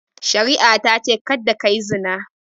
Shari'a ta ce "Kada ka yi zina!"